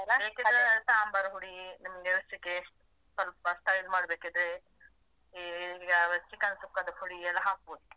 ಬೇಕಿದ್ರೆ ಸಾಂಬಾರ್ ಹುಡಿ ನಿಮ್ಗೆ ರುಚಿಗೆ ಸ್ವಲ್ಪ style ಮಾಡ್ಬೇಕಿದ್ರೆ ಈ chicken ಸುಕ್ಕದ ಪುಡಿ ಎಲ್ಲ ಹಾಕ್ಬಹುದು.